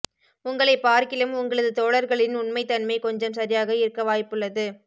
உங்களை பார்க்கிலும் உங்களது தோழர்களின் உண்மைதன்மை கொஞ்சம் சரியாக இருக்க வாய்ப்புள்ளது